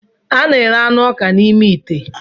A na-ere anụ ọka ọka n'ime ite.